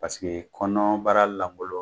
Pasekee kɔnɔɔbara lankolo